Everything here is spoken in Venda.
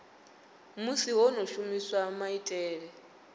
musi ho no shumiswa maitele